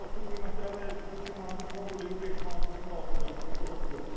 Yəni otun qiyməti əvvəl heç olmasa 2 manat, 3 manat, bu dəqiqə 5 manata kimi qalxacaq, çünki ot yoxdur.